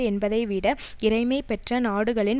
என்பதை விட இறைமை பெற்ற நாடுகளின்